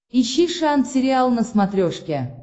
ищи шант сериал на смотрешке